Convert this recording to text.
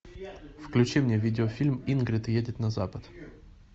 включи мне видеофильм ингрид едет на запад